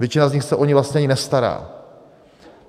Většina z nich se o ni vlastně ani nestará.